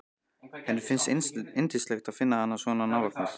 Henni finnst yndislegt að finna hann svona nálægt sér.